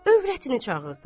Övrətini çağırdı.